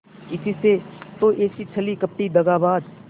इसी से तो ऐसी छली कपटी दगाबाज